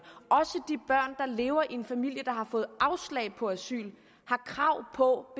og lever i en familie der har fået afslag på asyl har krav på